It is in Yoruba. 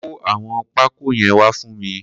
Kó awọn pákó yèn wà fún mi